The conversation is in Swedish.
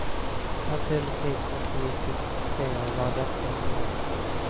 Naturligtvis måste vi fixera vad detta innebär.